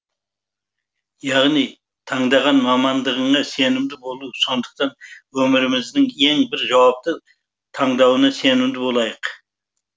яғни таңдаған мамандығыңа сенімді болу сондықтан өміріміздің ең бір жауапты таңдауына сенімді болайық